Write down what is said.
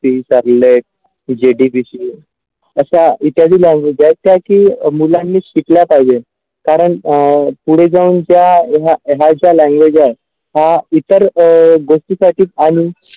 ती GDPC अशा इत्यादिक ज्या की मुलांनी शिकल्या पाहिजे कारण अ पुढे जाऊन त्या हा ज्या language आहे हा इतर अ गोष्टीसाठी आणि.